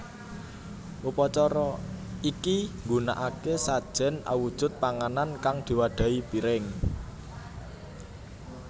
Upacara iki nggunakake sajen awujud panganan kang diwadhahi piring